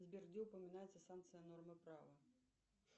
сбер где упоминается санкция нормы права